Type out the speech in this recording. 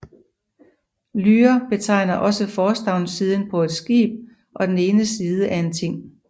Hlȳr betegner også forstavnssiden på et skib og den ene side af en ting